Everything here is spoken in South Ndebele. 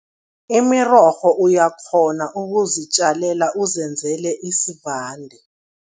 Imirorho uyakghona ukuzitjalela, uzenzele isivande.